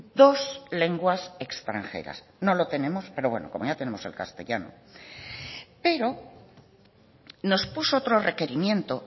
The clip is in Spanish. dos lenguas extranjeras no lo tenemos pero bueno como ya tenemos el castellano pero nos puso otro requerimiento